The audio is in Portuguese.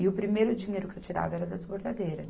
E o primeiro dinheiro que eu tirava era das bordadeiras.